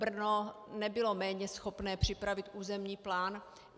Brno nebylo méně schopné připravit územní plán.